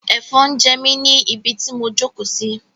Ẹ̀fọn ń jẹ mí ni ibi tí mo jókòó sí.